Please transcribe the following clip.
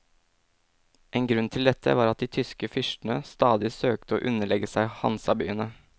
En grunn til dette var at de tyske fyrstene stadig søkte å underlegge seg hansabyene.